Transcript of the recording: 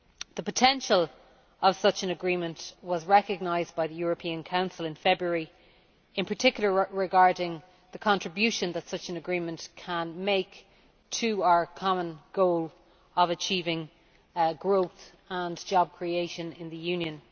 The potential of such an agreement was recognised by the European Council in February, in particular regarding the contribution that such an agreement can make to our common goal of achieving growth and job creation in the Union.